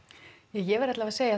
ja ég verð alla vega að segja